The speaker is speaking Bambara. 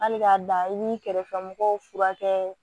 Hali k'a dan i b'i kɛrɛfɛmɔgɔw furakɛ